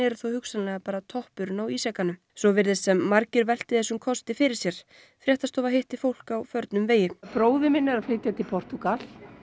þó hugsanlega bara toppurinn á ísjakanum svo virðist sem margir velti þessum kosti fyrir sér fréttastofa hitti fólk á förnum vegi bróðir minn er að flytja til Portúgal